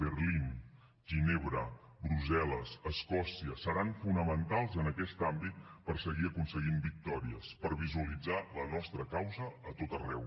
berlín ginebra brussel·les escòcia seran fonamentals en aquest àmbit per seguir aconseguint victòries per visualitzar la nostra causa a tot arreu